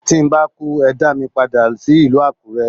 Tí n bá kú, ẹ dá mi padà sí ìlú Àkúrẹ́.